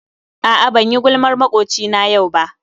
A'a banyi gulmar makwocina yau ba.